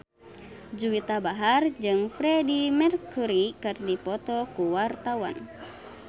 Juwita Bahar jeung Freedie Mercury keur dipoto ku wartawan